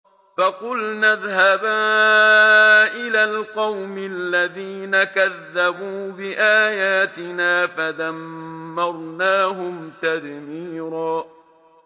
فَقُلْنَا اذْهَبَا إِلَى الْقَوْمِ الَّذِينَ كَذَّبُوا بِآيَاتِنَا فَدَمَّرْنَاهُمْ تَدْمِيرًا